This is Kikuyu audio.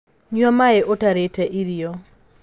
Nyua maĩi ũtarĩte irio